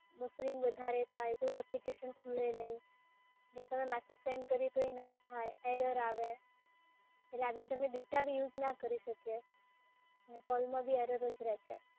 Buffering વધારે થાય, કોઈ એપ્લિકેશન ખુલે નહીં, જે તમે મેસેજ સેન્ડ કરીએ તો એ ના થાય error આવે, એટલે આવી રીતે અમે ડેટા બી યુઝ ના કરી શકીએ ને કૉલમાં બી error જ રેહ છે.